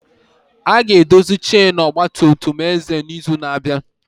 A ga-edozi chainu ọgba tum tum Eze n'izu na-abịa.